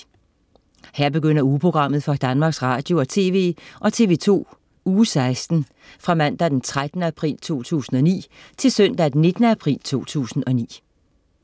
Her begynder ugeprogrammet for Danmarks Radio- og TV og TV2 Uge 16 Fra Mandag den 13. april 2009 Til Søndag den 19. april 2009